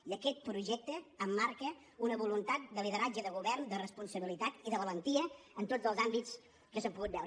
i aquest projecte emmarca una voluntat de lideratge de govern de responsabilitat i de valentia en tots els àmbits que s’han pogut veure